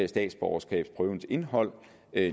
statsborgerskabsprøvens indhold